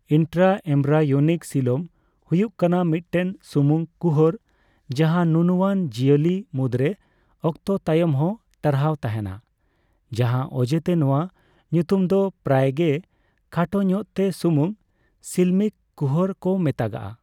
Intraembryonic coelom ᱦᱩᱭᱩᱜ ᱠᱟᱱᱟ ᱢᱤᱫᱴᱮᱱ ᱥᱩᱢᱩᱝ ᱠᱩᱦᱚᱨ ᱡᱟᱦᱟᱸ ᱱᱩᱱᱩᱣᱟᱱ ᱡᱤᱭᱟᱹᱞᱤ ᱢᱩᱫᱨᱮ ᱚᱠᱛᱚ ᱛᱟᱭᱚᱢᱦᱚᱸ ᱴᱟᱨᱦᱟᱣ ᱛᱟᱦᱮᱸᱱᱟ, ᱡᱟᱦᱟᱸ ᱚᱡᱮᱛᱮ ᱱᱚᱣᱟ ᱧᱩᱛᱩᱢ ᱫᱚ ᱯᱨᱟᱭᱜᱮ ᱠᱷᱟᱴᱚ ᱧᱚᱜᱛᱮ ᱥᱩᱢᱩᱝ ᱥᱤᱞᱢᱤᱠ ᱠᱩᱦᱚᱨ ᱠᱚ ᱢᱮᱛᱟᱜᱼᱟ ᱾